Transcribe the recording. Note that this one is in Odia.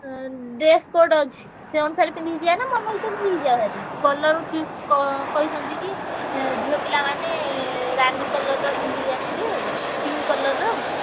ଆଁ dress code ଅଛି। ସେ ଅନୁସାରେ ପିନ୍ଧିକି ଯିବାନା ମନ ଇଛା ପିନ୍ଧିକି ଯିବା ଭାରି colour ହଉଛି କ~ କହିଛନ୍ତି କି ଏଁ ଝିଅ ପିଲାମାନେ ରାନୀ colour ର ପିନ୍ଧିକି ଆସିବେ। pink colour ର।